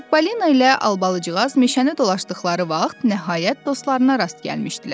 Çippolina ilə Albalıcıqaz meşəni dolaşdıqları vaxt, nəhayət dostlarına rast gəlmişdilər.